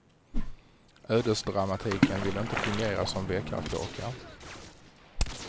Ödesdramatiken vill inte fungera som väckarklocka.